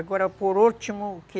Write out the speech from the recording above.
Agora, por último, que...